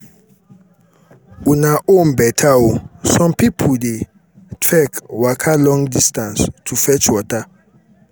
una own beta oo some people dey trek waka long distance to fetch water